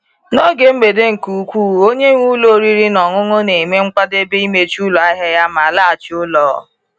N’oge mgbede nke ukwuu, onye nwe ụlọ oriri na ọṅụṅụ na-eme nkwadebe imechi ụlọ ahịa ya ma laghachi ụlọ.